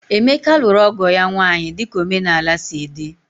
Emeka lụrụ ọgo ya nwaanyị dika omenala sị di